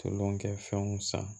Tolonkɛfɛnw san